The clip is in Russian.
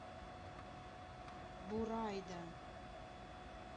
бурайда